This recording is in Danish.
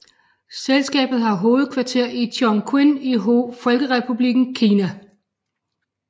Selskabet har hovedkvarter i Chongqing i Folkerepublikken Kina